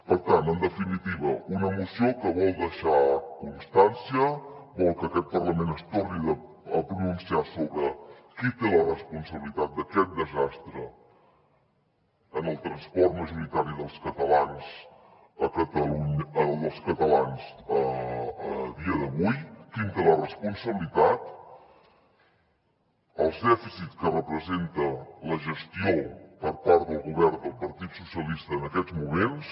per tant en definitiva una moció que vol deixar constància vol que aquest parlament es torni a pronunciar sobre qui té la responsabilitat d’aquest desastre en el transport majoritari dels catalans a dia d’avui quin en té la responsabilitat els dèficits que representa la gestió per part del govern del partit socialista en aquests moments